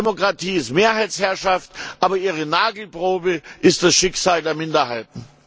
Demokratie ist Mehrheitsherrschaft, aber ihre Nagelprobe ist das Schicksal der Minderheiten.